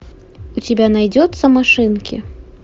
у тебя найдется машинки